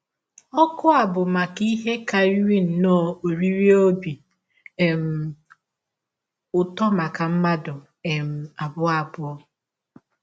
Ọ̀kụ a bụ maka ihe karịrị nnọọ oriri ọbi um ụtọ maka mmadụ um abụọ abụọ.